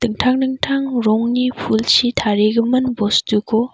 dingtang rongni pulchi tarigimin bostuko--